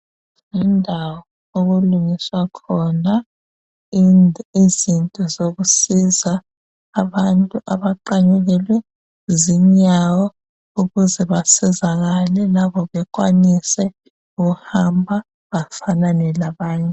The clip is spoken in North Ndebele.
Yindawo okulungiswa khona izinto zokusiza abantu abaqanyukelwe zinyawo ukuze basizakale labo bekwanise ukuhamba bafanane labanye